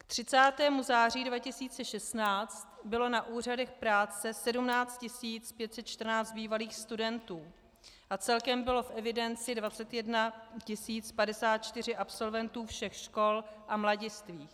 K 30. září 2016 bylo na úřadech práce 17 514 bývalých studentů a celkem bylo v evidenci 21 054 absolventů všech škol a mladistvých.